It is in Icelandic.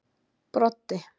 Broddi